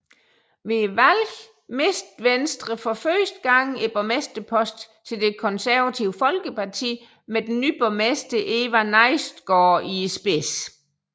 Ved valget mistede Venstre for første gang borgmesterposten til Det Konservative Folkeparti med den ny borgmester Eva Nejstgaard i spidsen